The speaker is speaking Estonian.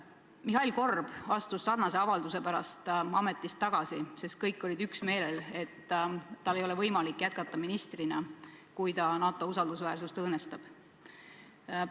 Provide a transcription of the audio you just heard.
Mihhail Korb astus sarnase avalduse pärast ametist tagasi, sest kõik olid üksmeelel, et tal ei ole võimalik ministrina jätkata, kui ta NATO usaldusväärsust õõnestab.